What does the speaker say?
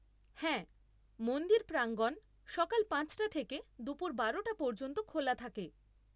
হ্যাঁ। মন্দির প্রাঙ্গণ সকাল পাঁচটা থেকে দুপুর বারোটা পর্যন্ত খোলা থাকে।